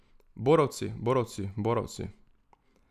Borovci, borovci, borovci.